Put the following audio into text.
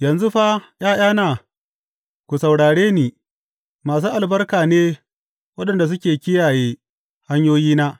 Yanzu fa, ’ya’yana, ku saurare ni; masu albarka ne waɗanda suke kiyaye hanyoyina.